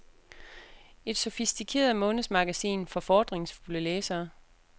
Et sofistikeret månedsmagasin for fordringsfulde læsere.